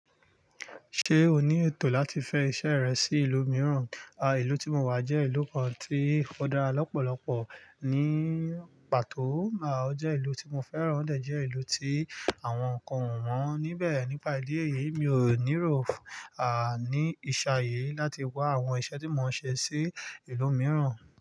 Ṣé o ní ètò láti fẹ iṣẹ́ rẹ sí ìlú mìíràn? À, ìlú tí mo wà jẹ́ ìlú kan tí ò dára lọ́pọ̀lọpọ̀ ní pàtó. À, ó jẹ́ ìlú tí mo fẹ́ràn, ó de jẹ ìlú tí àwọn nǹkan o wọ́n níbẹ̀. Nípa ìdí èyí, mi ò níró à ní ìṣayé láti wá àwọn iṣẹ́ tí mò ń ṣe sí ìlú mìíràn.